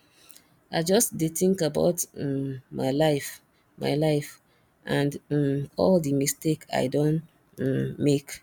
i just dey think about um my life my life and um all the mistake i don um make